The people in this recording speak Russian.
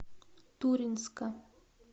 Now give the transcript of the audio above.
туринска